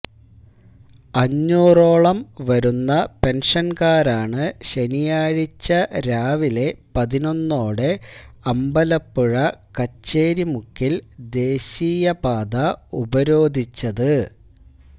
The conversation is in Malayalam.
അഞ്ഞൂറോളം വരുന്ന പെന്ഷന്കാരാണ് ശനിയാഴ്ച രാവിലെ പതിനൊന്നോടെ അമ്പലപ്പുഴ കച്ചേരി മുക്കില് ദേശിയപാത ഉപരോധിച്ചത്